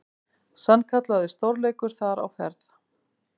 Sannkallaður stórleikur þar á ferð.